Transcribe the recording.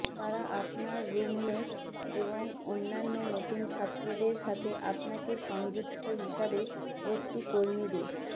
তারা আপনার রুমমেট এবং অন্যান্য নতুন ছাত্রদের সাথে আপনাকে সংযুক্ত হিসাবে ভর্তি কর্মীদের